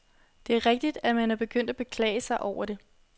Det er rigtigt, at man er begyndt at beklage sig over det.